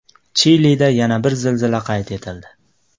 Chilida yana bir zilzila qayd etildi.